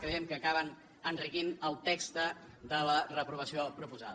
creiem que acaben enriquint el text de la reprovació proposada